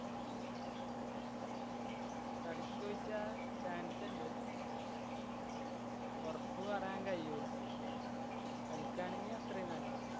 കളിക്കോയ്ച്ചാ? chance ഇണ്ട്. ഒറപ്പ് പറയാന്‍ കഴിയൂല. കളിക്കാണെങ്കി അത്രയും നല്ലത്.